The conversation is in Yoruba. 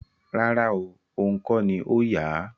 Rárá oo, ohùn kọ́ ni ó yà á